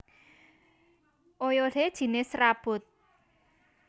Oyodé jinis serabut